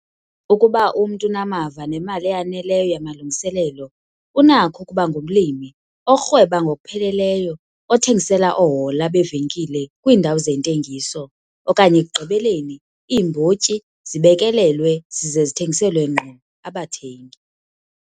Ukuba umntu unamava nemali eyaneleyo yamalungiselelo unakho ukuba ngumlimi orhweba ngokupheleleyo othengisela oohola beevenkile kwiindawo zentengiso okanye ekugqibeleni iimbotyi zibekelelwe zize zithengiselwe ngqo abathengi.